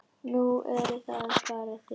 Nú, eruð það bara þið